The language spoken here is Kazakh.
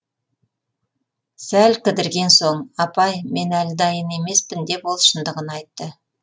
сәл кідірген соң апай мен әлі дайын емеспін деп ол шындығын айтты